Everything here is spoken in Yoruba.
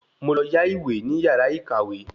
Mo lọ yá ìwé ní yàrá ìkàwé